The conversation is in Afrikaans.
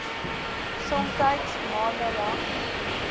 somtyds maande lank